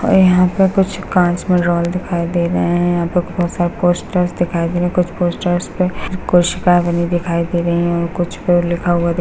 और यहां पे कुछ कांच मे रोल दिखाई दे रहे है यहां पर बहुत सारे पोस्टर्स दिखाई दे रहे है कुछ पोस्टर्स पे कोशिका बनी दिखाई दे रही हैं और कुछ पे लिखा हुआ --